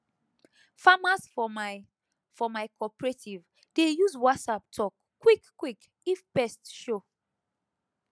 farmers for my for my cooperative dey use whatsapp talk quick quick if pest show